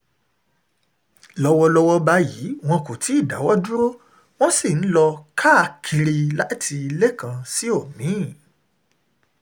lọ́wọ́lọ́wọ́ báyìí wọn kò tí ì dáwọ́ dúró wọ́n sì ń lọ káàkiri ilé kan sí omi-ín